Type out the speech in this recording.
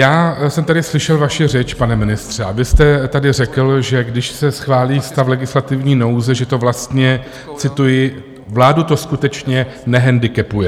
Já jsem tady slyšel vaši řeč, pane ministře, a vy jste tady řekl, že když se schválí stav legislativní nouze, že to vlastně, cituji: "Vládu to skutečně nehendikepuje."